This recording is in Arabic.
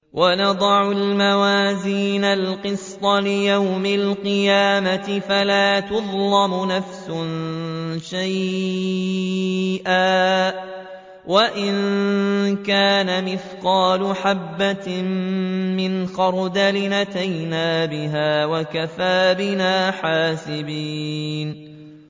وَنَضَعُ الْمَوَازِينَ الْقِسْطَ لِيَوْمِ الْقِيَامَةِ فَلَا تُظْلَمُ نَفْسٌ شَيْئًا ۖ وَإِن كَانَ مِثْقَالَ حَبَّةٍ مِّنْ خَرْدَلٍ أَتَيْنَا بِهَا ۗ وَكَفَىٰ بِنَا حَاسِبِينَ